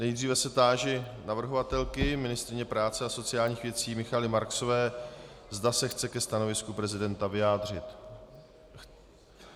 Nejdříve se táži navrhovatelky, ministryně práce a sociálních věcí Michaely Marksové, zda se chce ke stanovisku prezidenta vyjádřit.